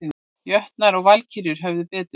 Jötnar og Valkyrjur höfðu betur